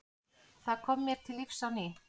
Það kom mér til lífs á ný.